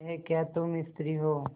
यह क्या तुम स्त्री हो